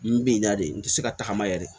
N bɛ na de n tɛ se ka tagama yɛlɛ de